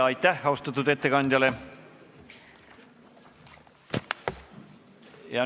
Aitäh austatud ettekandjale!